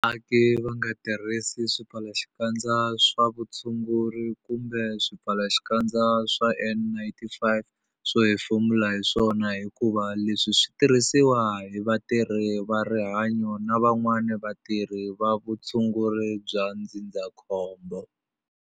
Vaaki va nga tirhisi swipfalaxikandza swa vutshunguri kumbe swipfalaxikandza swa N-95 swo hefemula hi swona hikuva leswi swi tirhisiwa hi vatirhi va rihanyo na van'wana vatirhi va vutshunguri bya ndzindzakhombo.